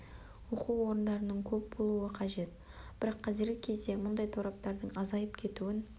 оқу орындарының көп болуы қажет бірақ қазіргі кезде біз мұндай торабтардың азайып кетуін